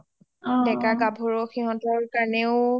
ডেকা গাভৰু সিঁহতৰ কাৰণেয়ো